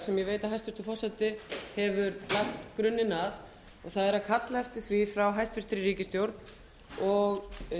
sem ég veit að hæstvirtur forseti hefur lagt grunninn að og það er að kalla eftir því frá hæstvirtri ríkisstjórn og